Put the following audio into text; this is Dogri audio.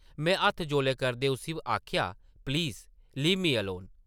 में हत्थ जौले करदे उस्सी आखेआ, ‘‘प्लीज़ लीव मी अलोन ।’’